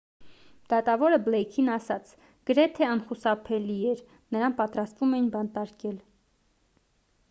դատավորը բլեյքին ասաց․«գրեթե անխուսափելի» էր նրան պատրաստվում էին բանտարկել: